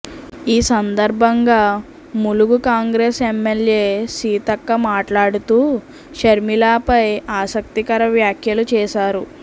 ఈ సందర్భంగా ములుగు కాంగ్రెస్ ఎమ్మెల్యే సీతక్క మాట్లాడుతూ షర్మిలపై ఆసక్తికర వ్యాఖ్యలు చేశారు